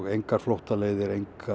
engar flóttaleiðir